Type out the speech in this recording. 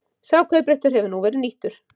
Sá kaupréttur hefur nú verið nýttur